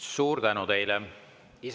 Suur tänu teile!